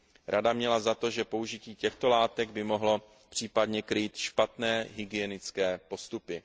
Rada měla za to, že použití těchto látek by mohlo případně krýt špatné hygienické postupy.